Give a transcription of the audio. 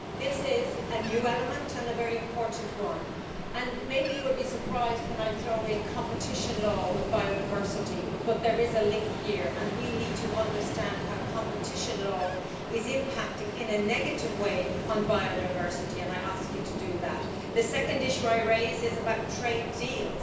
This is a new element and a very important one, and maybe you will be surprised when I throw in competition law with biodiversity, but there is a link here and we need to understand how competition law is impacting in a negative way on biodiversity, and I ask you to do that. The second issue I raise is about trade deals.